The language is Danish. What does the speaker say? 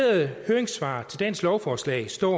høringssvarene til dagens lovforslag står